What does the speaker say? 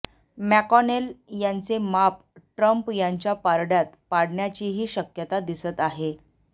McConnell यांचे माप Trump यांच्या पारड्यात पाडण्याचीही शक्यता दिसत आहे